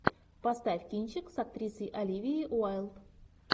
поставь кинчик с актрисой оливией уайлд